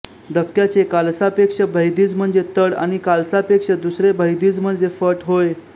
धक्क्याचे कालसापेक्ष भैदिज म्हणजे तड आणि कालसापेक्ष दुसरे भैदिज म्हणजे फट होय